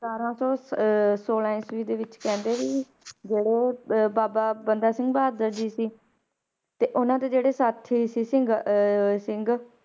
ਸਤਾਰਾਂ ਸੌ ਅਹ ਛੋਲਾਂ ਈਸਵੀ ਦੇ ਵਿੱਚ ਕਹਿੰਦੇ ਵੀ ਜਿਹੜੇ ਅਹ ਬਾਬਾ ਬੰਦਾ ਸਿੰਘ ਬਹਾਦਰ ਜੀ ਸੀ, ਤੇ ਉਹਨਾਂ ਦੇ ਜਿਹੜੇ ਸਾਥੀ ਸੀ ਸਿੰਘ ਅਹ ਸਿੰਘ